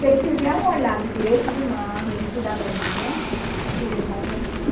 Se eles tiverem um olhar de direitos humanos, de cidadania, eles vão sair fora.